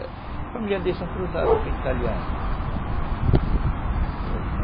A família dele são cruzadas com italianos